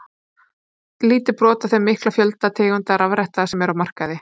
Lítið brot af þeim mikla fjölda tegunda rafretta sem eru á markaði.